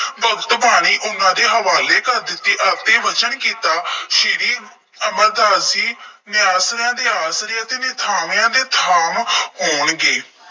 ਭਗਤ ਬਾਣੀ ਉਹਨਾ ਦੇ ਹਵਾਲੇ ਕਰ ਦਿੱਤੀ। ਆਪੇ ਬਚਨ ਕੀਤਾ ਸ਼੍ਰੀ ਅਮਰਦਾਸ ਜੀ ਨਿਆਸਰਿਆ ਦੇ ਆਸਰੇ ਅਤੇ ਨਿਥਾਵਿਆਂ ਦੇ ਥਾਵ ਹੋਣਗੇ।